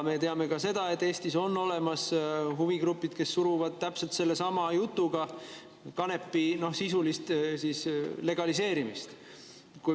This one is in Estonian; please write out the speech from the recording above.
Me teame ka seda, et Eestis on olemas huvigrupid, kes suruvad täpselt sellesama jutuga läbi kanepi sisulist legaliseerimist.